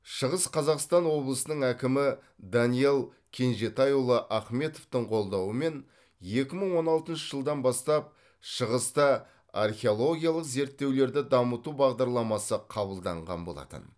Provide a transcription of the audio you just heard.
шығыс қазақстан облысының әкімі даниал кенжетайұлы ахметовтың қолдауымен екі мың он алтыншы жылдан бастап шығыста археологиялық зерттеулерді дамыту бағдарламасы қабылданған болатын